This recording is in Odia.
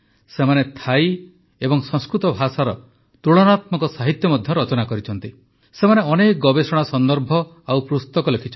ସେମାନେ ଥାଇ ଓ ସଂସ୍କୃତ ଭାଷାର ତୁଳନାତ୍ମକ ସାହିତ୍ୟ ମଧ୍ୟ ରଚନା କରିଛନ୍ତି